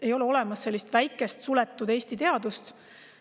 Ei ole olemas väikest suletud Eesti teadust.